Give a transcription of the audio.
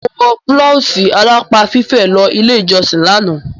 Mo wọ bláwùsì alápá fífẹ̀ lọ ilé ìjọsìn lánàá.